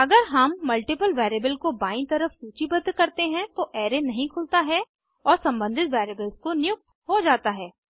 अगर हम multiple variables को बायीं तरफ सूचीबद्ध करते हैं तो अराय नहीं खुलता है और सम्बंधित वेरिएबल्स को नियुक्त हो जाता है